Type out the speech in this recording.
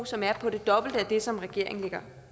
som er på det dobbelte af det som regeringen lægger